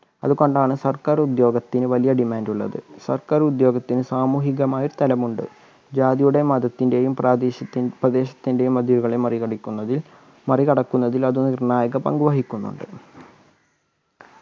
അതുകൊണ്ടാണ് സർക്കാർ ഉദ്യോഗത്തിന് വലിയ demand ഉള്ളത് സർക്കാർ ഉദ്യോഗത്തിന് സാമൂഹികമായ തലമുണ്ട് ജാതിയുടെയും മതത്തിൻ്റെയും പ്രാദേശത്തിൻ പ്രദേശത്തിൻ്റെയും മതിലുകളെ മറികടിക്കുന്നതിൽ മറികടക്കുന്നതിൽ അത് നിർണ്ണായക പങ്ക് വഹിക്കുന്നുണ്ട്